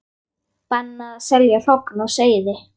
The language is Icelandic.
Bannað að selja hrogn og seiði